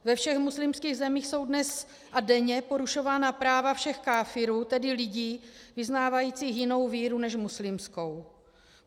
Ve všech muslimských zemích jsou dnes a denně porušována práva všech káfirů, tedy lidí vyznávajících jinou víru než muslimskou.